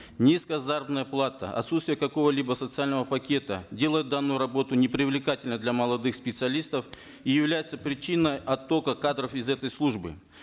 низкая заработная плата отсутствие какого либо социального пакета делают данную работу непривлекательной для молодых специалистов и являются причиной оттока кадров из этой службы